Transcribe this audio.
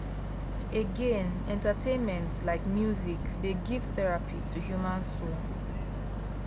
again entertainment like music dey give therapy to human soul.